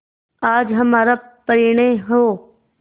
आज हमारा परिणय हो